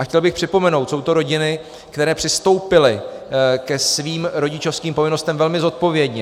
A chtěl bych připomenout, jsou to rodiny, které přistoupily ke svým rodičovským povinnostem velmi zodpovědně.